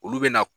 Olu bɛ na